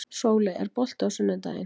Sóley, er bolti á sunnudaginn?